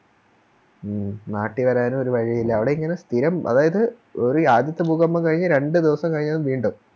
മ് നാട്ടി വരാനും ഒരു വഴിയില്ല അവിടെയിങ്ങനെ സ്ഥിരം അതായത് ഒര് ആദ്യത്തെ ഭൂകമ്പം കഴിഞ്ഞ് രണ്ട് ദിവസം കഴിഞ്ഞപ്പോ വീണ്ടും